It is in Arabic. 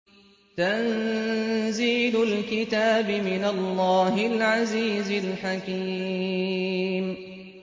تَنزِيلُ الْكِتَابِ مِنَ اللَّهِ الْعَزِيزِ الْحَكِيمِ